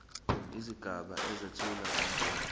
izigaba ezethula ngomqondo